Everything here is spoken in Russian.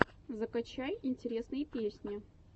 закачай интересные песни